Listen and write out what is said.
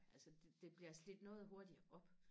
altså det bliver slidt noget hurtigere op